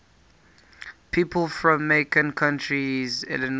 people from macon county illinois